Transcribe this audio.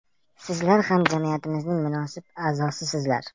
Sizlar ham jamiyatimizning munosib a’zosisizlar.